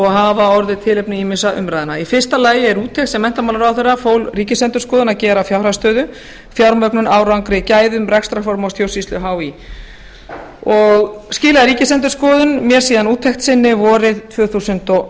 hafa orðið tilefni ýmissa umræðna í fyrsta lagi er úttekt sem menntamálaráðherra fól ríkisendurskoðun að gera á fjárhagsstöðu fjármögnun árangri gæðum rekstrarformi og stjórnsýslu hí skilaði ríkisendurskoðun mér síðan úttekt sinni vorið tvö þúsund og